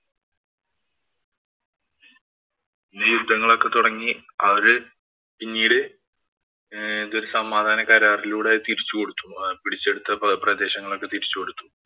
ഈ യുദ്ധങ്ങളൊക്കെ തുടങ്ങി അവര് പിന്നീട് ഏതോ ഒരു സമാധാനകരാറിലൂടെ തിരിച്ചു കൊടുത്തു. പിടിച്ചെടുത്ത പ്രദേശങ്ങളൊക്കെ തിരിച്ചു കൊടുത്തു.